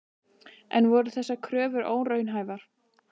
En voru þessar kröfur óraunhæfar?